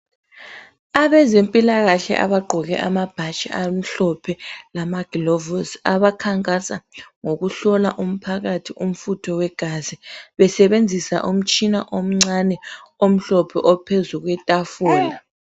Abezempilakahle abagqoke amabhatshi amhlophe, lamagilovusi abakhankasa ngokuhlola umphakathi umfutho wegazi, besebenzisa umtshina omncane omhlophe ophezu kwetafula.